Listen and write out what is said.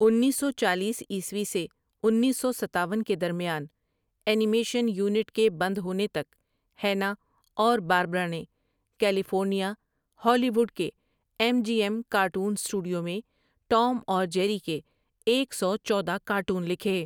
انیس سو چالیس عیسوی سے انیس سو ستاون کے درمیان، انیمیشن یونٹ کے بند ہونے تک، ہیننا اور باربرا نے کیلی فورنیا، ہالی وڈ کے M G M cartoon studio میں ٹوم اور جیری کے ایک سو چودہ کارٹون لکھے۔